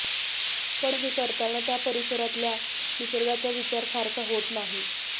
पण हे करताना त्या परिसरातल्या निसर्गाचा विचार फारसा होत नाही